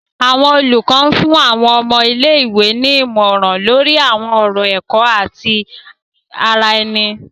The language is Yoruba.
Awọn olùkọ fún àwọn ọmọ ilé-ìwé ní ìmọràn lori awọn ọrọ ẹkọ ati ti ara ẹni.